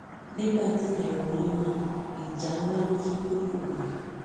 nígbà tíyẹn wọlé náà ìjà ńlá ló tún gbé kò mí